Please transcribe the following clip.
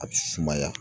A bɛ sumaya